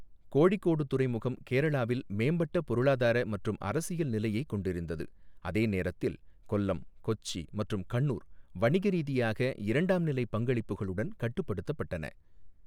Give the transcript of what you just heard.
கோழிக்கோடு துறைமுகம் கேரளாவில் மேம்பட்ட பொருளாதார மற்றும் அரசியல் நிலையைக் கொண்டிருந்தது, அதே நேரத்தில் கொல்லம், கொச்சி மற்றும் கண்ணூர் வணிகரீதியாக இரண்டாம் நிலை பங்களிப்புகளுடன் கட்டுப்படுத்தப்பட்டன.